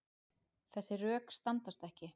Þessi rök standast ekki.